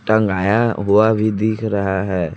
टंगाया हुआ भी दिख रहा है।